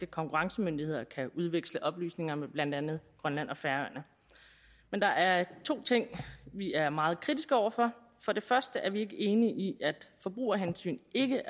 konkurrencemyndigheder kan udveksle oplysninger med blandt andet grønland og færøerne men der er to ting vi er meget kritiske over for for det første er vi ikke enige i at forbrugerhensyn ikke